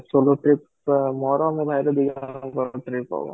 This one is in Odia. solo trip ଟା ମୋର ଆଉ ମୋ ଭାଇର ଦିଜଣଙ୍କ ଟ୍ରିପ ହବ